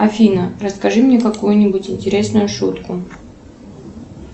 афина расскажи мне какую нибудь интересную шутку